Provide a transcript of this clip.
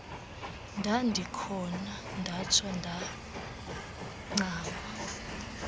ndandikhona ndatsho ndancama